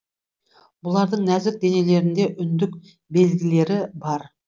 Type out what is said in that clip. бұлардың нәзік денелерінде үндік белгілері бар